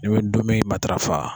N'i bi ndomi matarafa.